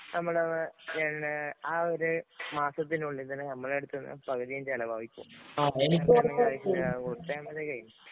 നമ്മള്ആ ഒരു മാസത്തിനുള്ളില്‍ തന്നെ നമ്മടെ അടുത്തുന്നു പകുതീം ചെലവാവും ഇപ്പൊ